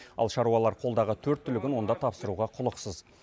ал шаруалар қолдағы төрт түлігін онда тапсыруға құлықсыз